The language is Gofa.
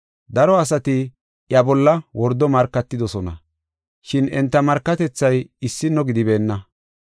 Daro asati iya bolla wordo markatidosona, shin enta markatethay issino gidibeenna.